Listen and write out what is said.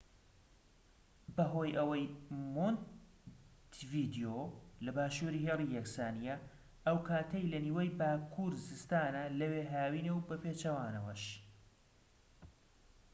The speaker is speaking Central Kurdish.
بەهۆی ئەوەی مۆنتیڤیدیۆ لە باشووری هێڵی یەکسانیە ئەو کاتەی لە نیوەی باکوور زستانە لەوێ هاوینە و بەپێچەوانەوەش